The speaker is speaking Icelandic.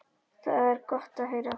Það er gott að heyra.